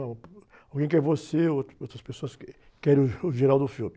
Alguém quer você, outras, outras pessoas que querem o.